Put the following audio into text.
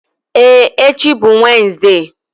Ee echi bụ Wenezde.